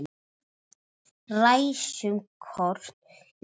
Ræsum kort í níu.